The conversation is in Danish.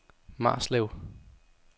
Marslev